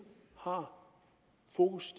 har fokus